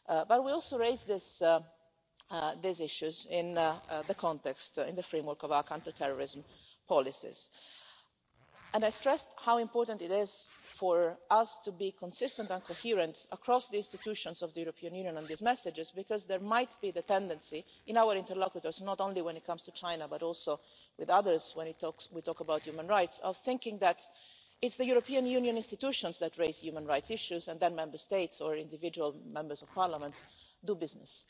But we also raise these issues in the context, in the framework of our counter terrorism policies, and I stress how important it is for us to be consistent and coherent across the institutions of the European Union on these messages, because there might be the tendency in our interlocutors not only when it comes to China, but also with others, when we talk about human rights of thinking that it's the European Union institutions that raise human rights issues, and then Member States or individual Members of Parliament do business.